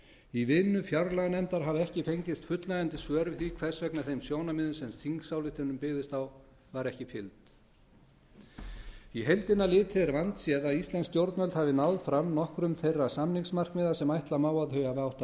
í vinnu fjárlaganefndar hafa ekki fengist fullnægjandi svör við því hvers vegna þeim sjónarmiðum sem þingsályktunin byggist á var ekki fylgt á heildina litið er vandséð að íslensk stjórnvöld hafi náð fram nokkrum þeirra samningsmarkmiða sem ætla má að þau hafi átt að